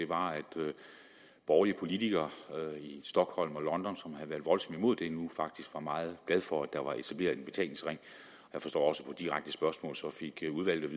borgerlige politikere i stockholm og london som havde været voldsomt imod det nu faktisk var meget glade for at der var etableret en betalingsring jeg forstår også at udvalget